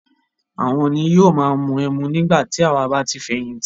Àwọn ni yóò máa mu ẹmu nígbà tí àwà bá ti fẹ̀yìntì.